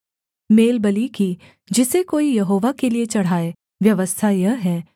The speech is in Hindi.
मेलबलि की जिसे कोई यहोवा के लिये चढ़ाए व्यवस्था यह है